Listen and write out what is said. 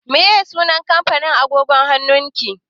Me sunan kampanin agogon hannun ki?